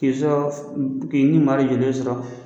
K'e sɔf u k'i ɲumari yele sɔrɔ